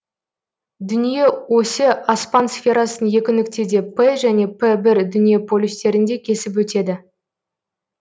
дүние осі аспан сферасын екі нүктеде п және п бір дүние полюстерінде кесіп өтеді